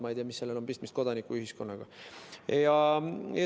Ma ei tea, mis sellel on pistmist kodanikuühiskonnaga.